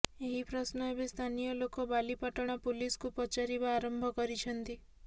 ଏହି ପ୍ରଶ୍ନ ଏବେ ସ୍ଥାନୀୟ ଲୋକ ବାଲିପାଟଣା ପୁଲିସକୁ ପଚାରିବା ଆରମ୍ଭ କରିଛନ୍ତି